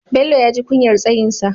Bello ya ji kunyar tsayinsa.